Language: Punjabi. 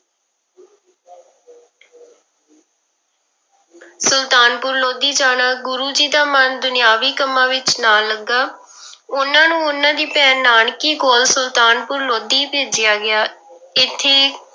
ਸੁਲਤਾਨਪੁਰ ਲੋਧੀ ਜਾਣਾ, ਗੁਰੂ ਜੀ ਦਾ ਮਨ ਦੁਨਿਆਵੀ ਕੰਮਾਂ ਵਿੱਚ ਨਾ ਲੱਗਾ ਉਹਨਾਂ ਨੂੰ ਉਹਨਾਂ ਦੀ ਭੈਣ ਨਾਨਕੀ ਕੋਲ ਸੁਲਤਾਨਪੁਰ ਲੋਧੀ ਭੇਜਿਆ ਗਿਆ, ਇੱਥੇ